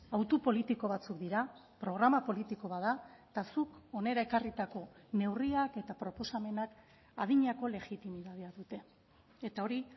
autu politiko batzuk dira programa politiko bat da eta zuk hona ekarritako neurriak eta proposamenak adinako legitimitatea dute eta hori